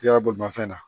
I y'a bolimafɛn na